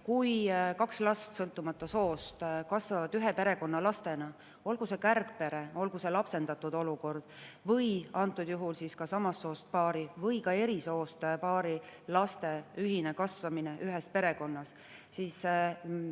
Kui kaks last, sõltumata soost, kasvavad ühe perekonna lastena, olgu see kärgpere, olgu nad lapsendatud või kui, nagu antud juhul, samast soost paari, aga ka eri soost paari lapsed kasvavad ühes perekonnas, siis